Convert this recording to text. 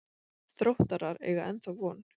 Þróttarar eiga ennþá von.